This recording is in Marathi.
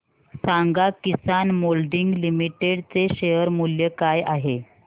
सांगा किसान मोल्डिंग लिमिटेड चे शेअर मूल्य काय आहे